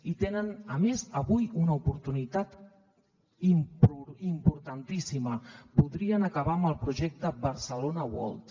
i tenen a més avui una oportunitat importantíssima podrien acabar amb el projecte barcelona world